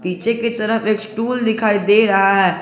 पीछे की तरफ एक स्टूल दिखाई दे रहा है।